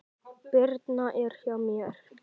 Birna er hjá mér.